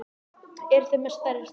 Eruð þið með stærri stærð?